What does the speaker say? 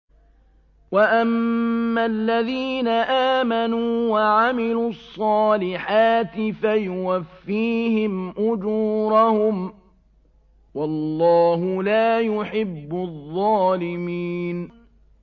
وَأَمَّا الَّذِينَ آمَنُوا وَعَمِلُوا الصَّالِحَاتِ فَيُوَفِّيهِمْ أُجُورَهُمْ ۗ وَاللَّهُ لَا يُحِبُّ الظَّالِمِينَ